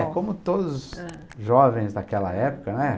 É, como todos, ãh, os jovens daquela época, né?